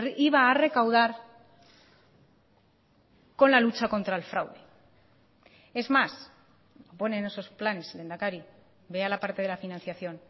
iba a recaudar con la lucha contra el fraude es más pone en esos planes lehendakari vea la parte de la financiación